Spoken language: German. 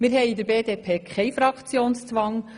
Wir haben in der BDP keinen Fraktionszwang.